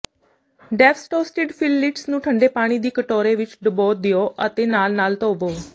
ਡੈਫਸਟੋਸਟਿਡ fillets ਨੂੰ ਠੰਡੇ ਪਾਣੀ ਦੀ ਕਟੋਰੇ ਵਿਚ ਡਬੋ ਦਿਓ ਅਤੇ ਨਾਲ ਨਾਲ ਧੋਵੋ